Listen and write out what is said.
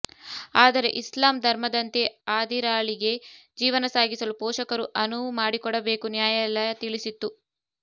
ಆದರೆ ಇಸ್ಲಾಂ ಧರ್ಮದಂತೆ ಆದಿರಾಳಿಗೆ ಜೀವನ ಸಾಗಿಸಲು ಪೊಷಕರು ಅನುವು ಮಾಡಿಕೊಡಬೇಕು ನ್ಯಾಯಾಲಯ ತಿಳಿಸಿತ್ತು